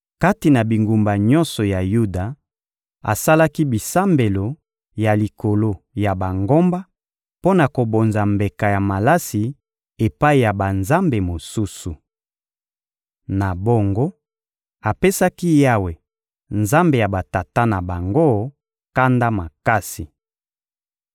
Kati na bingumba nyonso ya Yuda, asalaki bisambelo ya likolo ya bangomba mpo na kobonza mbeka ya malasi epai ya banzambe mosusu. Na bongo, apesaki Yawe, Nzambe ya batata na bango, kanda makasi.